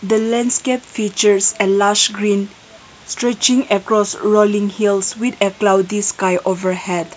the landscape features a large green stretching across rolling hills with a cloudy sky over head.